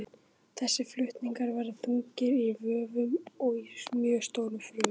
Þessir flutningar verða þungir í vöfum í mjög stórum frumum.